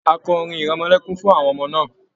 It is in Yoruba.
A kọ orin ìrẹmọlẹ́kún fún àwọn ọmọ náà.